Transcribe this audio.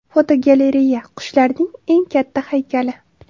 Fotogalereya: Qushlarning eng katta haykali.